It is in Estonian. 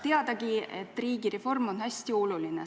Teadagi, et riigireform on hästi oluline.